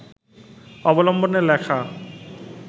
অবলম্বনে লেখা